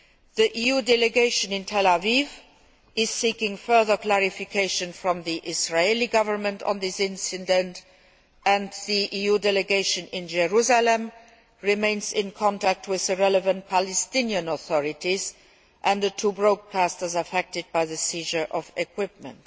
The EU Delegation in Tel Aviv is seeking further clarification from the Israeli Government on this incident, and the EU Delegation in Jerusalem remains in contact with the relevant Palestinian authorities and the two broadcasters affected by the seizure of equipment.